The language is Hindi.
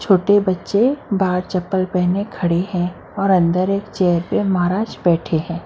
छोटे बच्चे बाहर चपल पहने खड़े है और अंदर एक चैयर पर महाराज बैठे है।